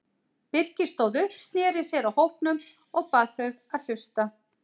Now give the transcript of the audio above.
Birkir stóð upp, sneri sér að hópnum og bað þau að hlusta.